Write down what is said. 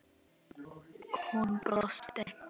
Hún brosti.